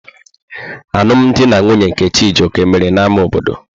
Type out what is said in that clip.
Alụm di na nwunye nke Chijioke mere n'ámá obodo.